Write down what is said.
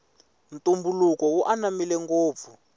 ntumbuluko wu ananmile ngopfu